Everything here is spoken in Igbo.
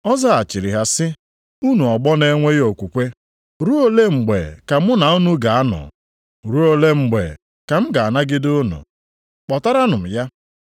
Ọ zaghachiri ha sị, “Unu ọgbọ na-enweghị okwukwe. Ruo ole mgbe ka mụ na unu ga-anọ? Ruo ole mgbe ka m ga-anagide unu? Kpọtaranụ m ya!”